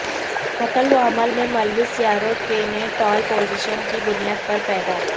نقل و حمل میں ملوث سیاروں کے نےٹال پوزیشن کی بنیاد پر پیدا